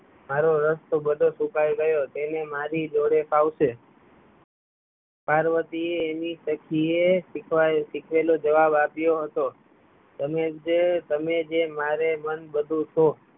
મારો રસ તો બધો ફૂકાય ગયો તેણે મારી જોડે ફાવશે પાર્વતી એ એની સખી એ શિખવાડે લો જવાબ આપ્યો હતો તમે જેમ મારે મનન બધું તો